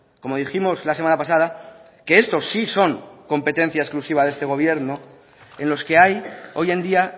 como dijimos la semana pasada que estos sí son competencia exclusiva de este gobierno en los que hay hoy en día